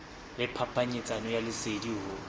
le phapanyetsano ya lesedi ho